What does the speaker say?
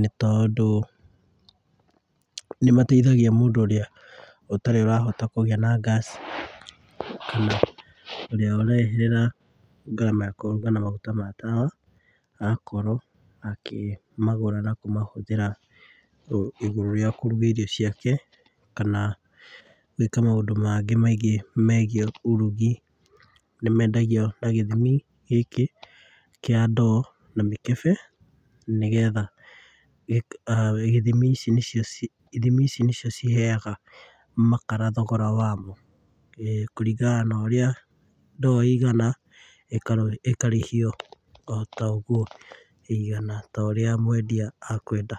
nĩ tondũ, nĩmateithagia mũndũ ũrĩa ũtarĩ ũrahota kũgĩa na gas, kana ũrĩa ũreherera ngarama ya kũruga na maguta ma tawa, agakorwo akĩmagũra na kũmahũthĩra, igũrũ rĩa kũruga irio ciake, kana gwĩka maũndũ mangĩ maingĩ megiĩ ũrugi. Nimendagio na gĩthimi gĩkĩ kĩa ndoo na mĩkebe, nĩgetha ithimi ici nĩcio ciheaga makara thogora wamo, kũringana na ũria ndoo ĩigana, ĩkarĩhio o ta ũguo ĩigana, ta ũrĩa mwendia akwenda.